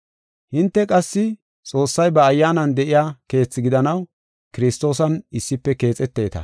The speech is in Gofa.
Hinte qassi Xoossay ba Ayyaanan de7iya keethi gidanaw Kiristoosan issife keexeteta.